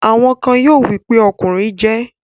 Àwọn kan yóò wí pé 'ọkùnrin jẹ